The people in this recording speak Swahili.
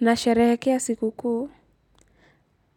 Nasherehekea siku kuu